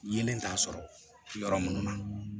Yelen t'a sɔrɔ yɔrɔ munnu na